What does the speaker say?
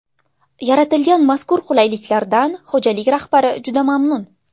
Yaratilgan mazkur qulaylikdan xo‘jalik rahbari juda mamnun.